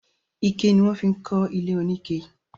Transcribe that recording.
Ike ni wọ́n fi ń kọ ilé oníke